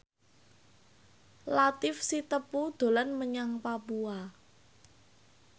Latief Sitepu dolan menyang Papua